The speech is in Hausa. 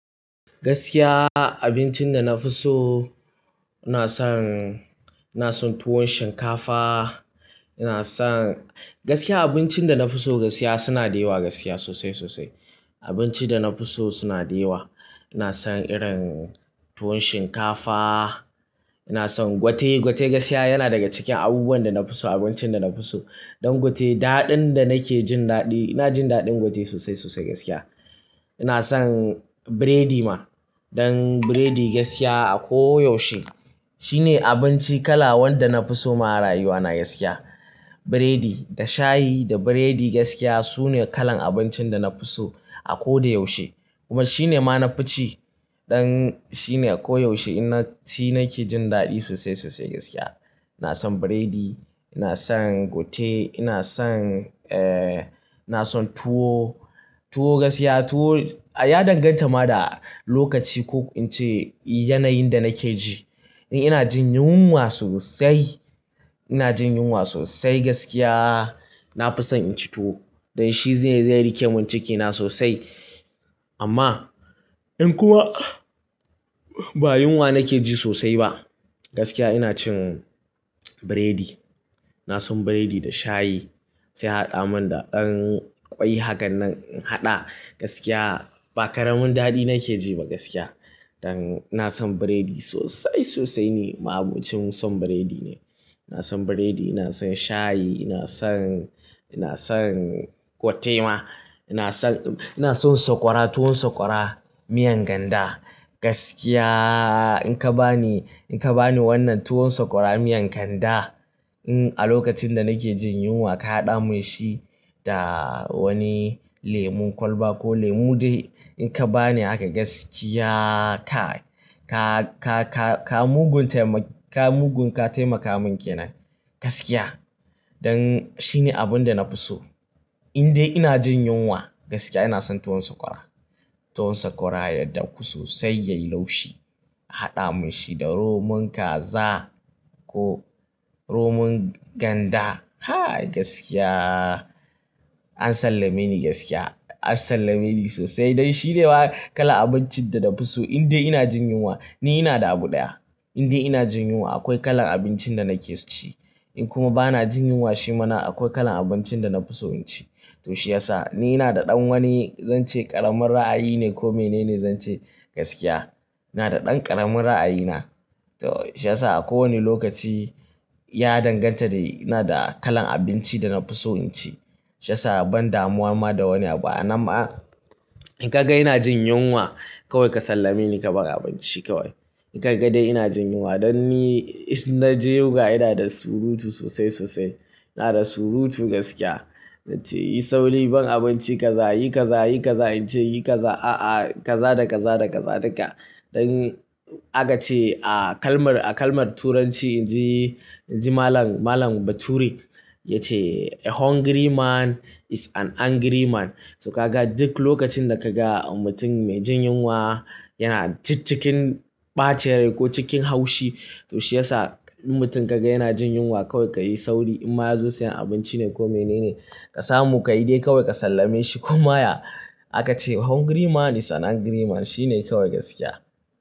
Gaskiya abincin da na fi so, ina son tuwon shinkafa ina son. Gaskiya abincin da na fi so gaskiya suna da yawa gadkiya sosai sosai. Abinci ina son irin tuwon shinkafa, ina son gwate. Gwate gaskiya yana daga cikin abubuwan da na fi so abincin da na fi so. Dan gwate, daɗin da nake jin daɗi, ina jin daɗin gwate sosai gaskiya. Ina son burodi ma. Dan burodi gaskiya a koyaushe shine abinci kala wanda na fi so ma a rayuwa na gaskiya. Burodi da shayi da burodi gaskiya sune kalan abincin da na fi so a ko da yaushe. Kuma shine ma na fi ci, domin shine a ko yaushe ina ci na ke jin daɗi sosai sosai gaskiya. Ina son burodi, ina son gwate, ina son ina son tuwo. Tuwo gaskiya tuwo ya danganta ma da lokaci ko yanayin da nake ji. In ina jin yunwa sosai gaskiya, na fi son inci tuwo dan shi zai rike mun cikina sosai. Amma in kuma ba yunwa nake ji sosai ba, gaskiya ina cin burodi. Ina son burodi da shayi sai haɗa mun da ɗan ƙwai. Haka nan in haɗa gaskiya ba karamin daɗi nake ji ba gaskiya. Dan ina son burodi sosai sosai ne, ma abincin son burodi ne. Ina son burodi, ina son shayi, ina son gwate ma, ina son sakwara tuwon sakwara, miyan ganda. Gaskiya in ka bani wannan tuwon sakwara, miyan ganda a lokacin da nake jin yunwa ka haɗa mun shi da wani lemun kwalba ko lemu dai in ka bani haka gaskiya kai ka ka mugun ka taimaka mun kenan gaskiya. Dan shine abun da na fi so. In dai ina jin yunwa gaskiya ina son tuwon sakwara. Tuwon sakwara ya daku sosai yayi laushi, haɗa mun shi da romon kaza ko romon ganda. Ha gaskiya an sallame ni gaskiya, an sallame ni sosai. Dan shi ne fa kala abincin da na fi so in dai ina jin yunwa. Ni ina da abu ɗaya in dai ina jin yunwa akwai kalan abincin da nake so inci. In kuma bana jin yunwa shi ma akwai kalan abincin da na fi so inci. To shi yasa ni ina da ɗan wani zan ce ƙaramin ra'ayi ne ko mene ne zan ce gaskiya. Ina da ɗan ƙaramin ra'ayi na. To shi yasa a kowane lokaci ya danganta da ina da kalan abinci da na fi so inci. Shi yasa ban damuwa ma da wani abu. A nan ma in ka ga ina jin yunwa kawai ka sallame ni ka ban abinci kawai. In ka ga dai ina jin yunwa dan ni in na ji yunwa ina da surutu sosai sosai ina da surutu gaskiya. Nace yi sauri ban abinci kaza, yi kaza, yi kaza, in ce yi kaza, a'a kaza da kaza da kaza duka. Dan aka ce a kalmar Turanci, in ji Malam Bature yace "A hungry man is an angry man." To ka ga duk lokacin da kaga mutum mai jin yunwa yana cikin ɓacen rai ko cikin haushi to shi yasa in mutum ka ga yana jin yunwa kawai ka yi sauri. In ma ya zo sayan abinci ne ko menene ka samu ka yi dai kawai ka sallame shi. Kuma ya aka ce "A hungry man is an angry man." shi ne kawai gaskiya.